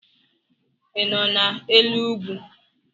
ị nọ n'elu ugwu?